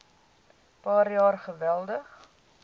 paar jaar geweldig